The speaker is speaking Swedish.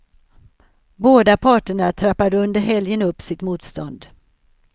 Båda parterna trappade under helgen upp sitt motstånd.